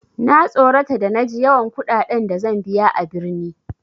Na tsorata da na ji yawan kuɗaɗen da zan biya a birni.